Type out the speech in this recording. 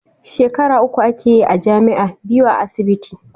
Shekara uku ake yi a jami'a, biyu a asibiti